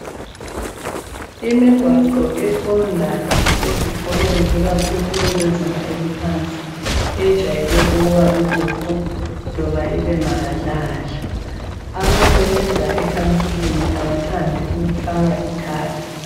Imigwaqo eqonda ezikolweni, ikakhulu ezezinga eliphansi. Yejwayele ukuba lubhuqu, kumbe ibe mahadlahadla. Abasebenza ekhansilini kabathandi ukufaka ithara.,